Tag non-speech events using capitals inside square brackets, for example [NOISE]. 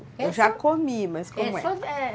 Eu já comi, mas como é? [UNINTELLIGIBLE]